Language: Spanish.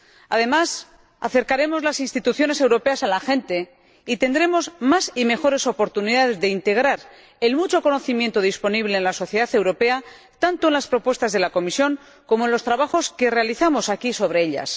Además, acercaremos las instituciones europeas a la gente y dispondremos de más y mejores oportunidades de integrar el mucho conocimiento disponible en la sociedad europea, tanto en las propuestas de la Comisión como en los trabajos que realizamos aquí sobre ellas.